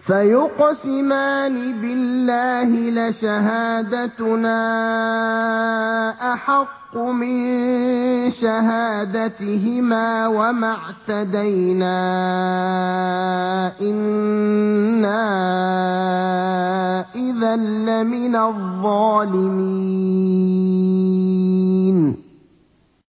فَيُقْسِمَانِ بِاللَّهِ لَشَهَادَتُنَا أَحَقُّ مِن شَهَادَتِهِمَا وَمَا اعْتَدَيْنَا إِنَّا إِذًا لَّمِنَ الظَّالِمِينَ